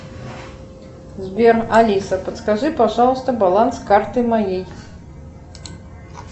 сбер алиса подскажи пожалуйста баланс карты моей